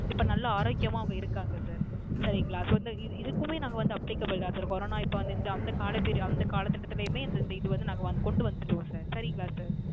இப்ப நல்ல ஆரோக்கியமா அவங்க இருக்காங்க Sir சரிங்களா சொல்ல இதுக்குமே நாங்க வந்து Applicable தான் Sir Corona இப்ப வந்த Period அந்த காலபேரு காலகட்டத்திலுமே இந்த இது வந்து நாங்க கொண்டு வந்துவிட்டோம் sir சரிங்களா Sir